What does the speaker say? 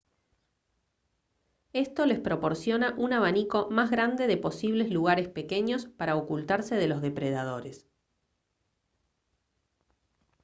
esto les proporciona un abanico más grande de posibles lugares pequeños para ocultarse de los depredadores